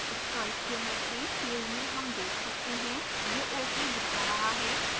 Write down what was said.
stoichiometry field में हम देख सकते हैं यह ok दिखा रहा है